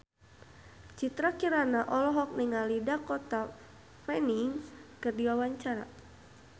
Citra Kirana olohok ningali Dakota Fanning keur diwawancara